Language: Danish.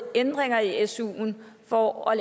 en ændring af af suen for at